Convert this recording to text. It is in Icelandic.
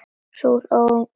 Sú var ung!